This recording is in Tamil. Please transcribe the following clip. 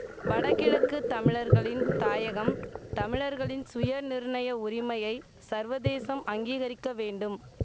வடகிழக்கு தமிழர்களின் தாயகம் தமிழர்களின் சுயநிர்ணய உரிமையை சர்வதேசம் அங்கீகரிக்க வேண்டும்